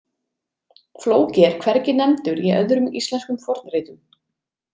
Flóki er hvergi nefndur í öðrum íslenskum fornritum.